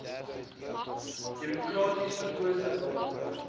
demokraties verkose rade